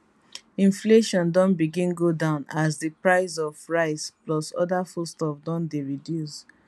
inflation don begin go down as di price of rice plus oda food stuff don dey reduce